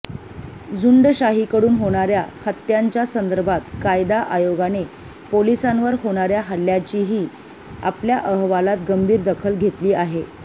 झुंडशाहीकडून होणाऱ्या हत्यांच्या संदर्भात कायदा आयोगाने पोलिसांवर होणाऱ्या हल्ल्यांचीही आपल्या अहवालात गंभीर दखल घेतली आहे